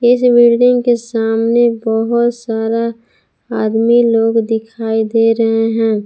इस बिल्डिंग के सामने बहोत सारा आदमी लोग दिखाई दे रहे हैं।